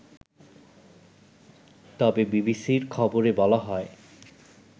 তবে বিবিসির খবরে বলা হয়